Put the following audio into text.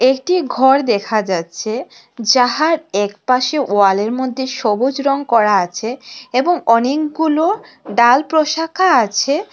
এটি ঘর দেখা যাচ্ছে যাহার একপাশে ওয়ালের মধ্যে সবুজ রং করা আছে এবং অনেকগুলো ডাল প্রশাখা আছে।